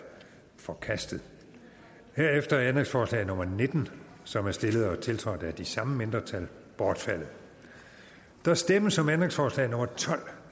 forkastet herefter er ændringsforslag nummer nitten som er stillet og tiltrådt af de samme mindretal bortfaldet der stemmes om ændringsforslag nummer tolv